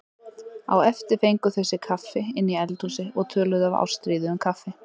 Á eftir fengu þau sér kaffi inni í eldhúsi og töluðu af ástríðu um kaffi.